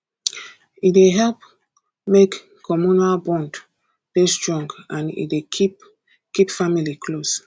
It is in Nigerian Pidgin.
e dey help make communal bond dey strong and e dey keep keep family close